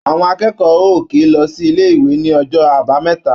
À̀wọn akẹ́kọ̀ọ́ ò kì í lọ sí ilé-ìwé ní ọjọ́ Àbámẹ́ta.